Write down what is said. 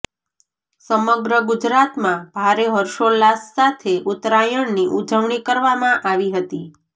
સમગ્ર ગુજરાતમાં ભારે હર્ષોલ્લાસ સાથે ઉત્તરાયણની ઉજવણી કરવામાં આવી હતી